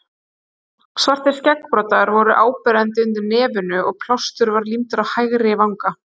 Svartir skeggbroddar voru áberandi undir nefinu og plástur var límdur á hægri vanga.